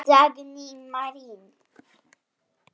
Dagný Marín.